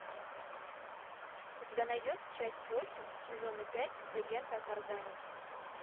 у тебя найдется часть восемь сезона пять легенда о тарзане